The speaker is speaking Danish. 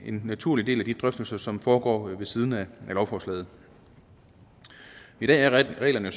en naturlig del af de drøftelser som foregår ved siden af lovforslaget i dag er reglerne